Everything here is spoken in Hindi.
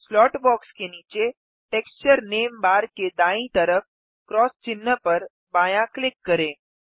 स्लॉट बॉक्स के नीचे टेक्सचर नेम बार के दायीं तरफ क्रॉस चिह्न पर बायाँ क्लिक करें